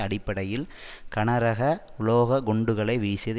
அடிப்படையில் கனரக உலோக குண்டுகளை வீசியது